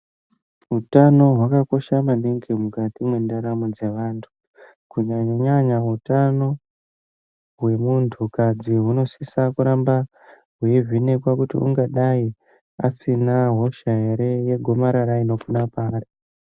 Utano hwakakosha manhingi mukati mentaramo dzeantu kunyanya-nyanya hutano wemuntukazi ,hunosisa kuramba evenekwa kuti ungadai asina hosha yegomarara paari